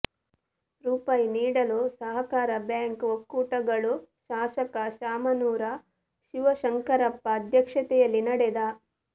ರೂಪಾಯಿ ನೀಡಲು ಸಹಕಾರ ಬ್ಯಾಂಕ್ ಒಕ್ಕೂಟಗಳು ಶಾಸಕ ಶಾಮನೂರ ಶಿವಶಂಕರಪ್ಪ ಅಧ್ಯಕ್ಷತೆಯಲ್ಲಿ ನಡೆದ